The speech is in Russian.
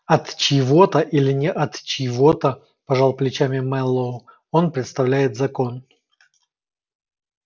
от чьего-то или не от чьего-то пожал плечами мэллоу он представляет закон